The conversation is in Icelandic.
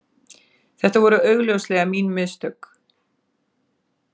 Þetta voru augljóslega mín mistök